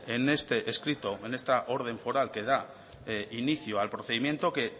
en este escrito en esta orden foral que da inicio al procedimiento que